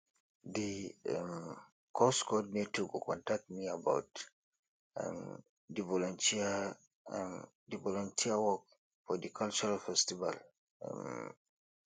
di um course coordinator go contact me about um di volunteer um di volunteer work for di cultural festival um